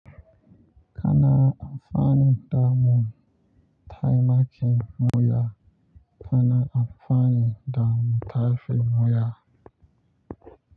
Kana amfani da mu taimaki mu ya kana amfani da mu taifi mu ya.